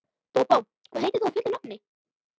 Bóbó, hvað heitir þú fullu nafni?